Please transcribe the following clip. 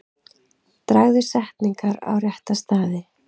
Dragðu setningar á rétta staði.